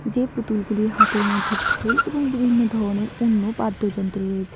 যে পুতুলগুলির হাতের মধ্যে ঢোল এবং বিভিন্ন ধরনের অন্য বাদ্যযন্ত্র রয়েছে।